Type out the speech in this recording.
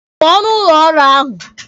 Pụọ n'ụlọ ọrụ ahụ!